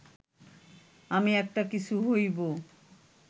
আমি একটা কিছু হইব